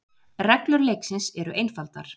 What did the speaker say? Reglur leiksins eru einfaldar.